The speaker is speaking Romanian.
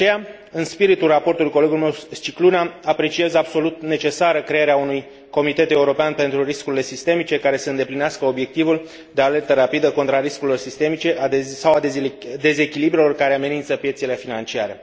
De aceea, în spiritul raportului colegului meu Scicluna, apreciez absolut necesară crearea unui Comitet european pentru riscurile sistemice, care să îndeplinească obiectivul de alertă rapidă contra riscurilor sistemice sau dezechilibrelor care amenință piețele financiare.